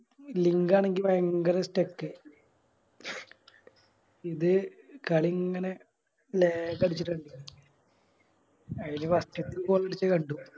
Link ആണെങ്കി ഭയങ്കര Stuck ഇത് കളി ഇങ്ങനെ Lag അടിച്ചിറ്റാണ് ആയില് First കണ്ടു